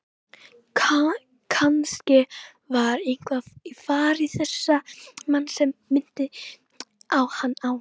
Kannske var eitthvað í fari þessa manns sem minnti hann á